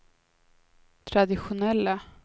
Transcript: traditionella